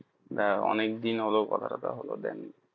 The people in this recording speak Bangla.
অনেক দিন হলো কথা টথা হল then